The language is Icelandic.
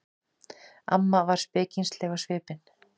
Amma var spekingsleg á svipinn.